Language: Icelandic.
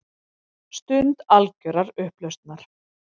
Stund algjörrar upplausnar.